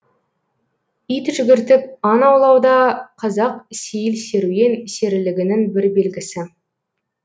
ит жүгіртіп аң аулауда қазақ сейіл серуен серілігінің бір белгісі